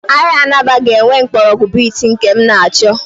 Ahịa Alaba a ga-enwe mgbọrọgwụ beet nke m na-achọ?